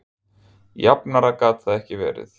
Jafnara gat það ekki verið